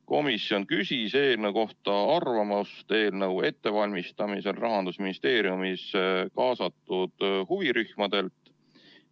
Komisjon küsis eelnõu kohta arvamust eelnõu ettevalmistamisel Rahandusministeeriumis kaasatud huvirühmadelt.